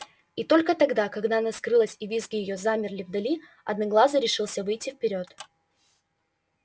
и только тогда когда она скрылась и визги её замерли вдали одноглазый решился выйти вперёд